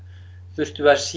þurftum við að